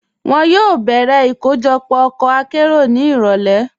Wọn yóò bẹ̀rẹ̀ ikojọpọ̀ ọkọ àkéró ni irọ̀lẹ̀.